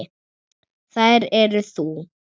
Þær eru þú.